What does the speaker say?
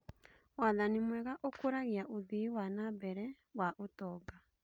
Wathani mwega ũkũragia ũthii wa na mbere wa ũtonga.